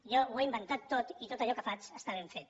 jo ho he inventat tot i tot allò que faig està ben fet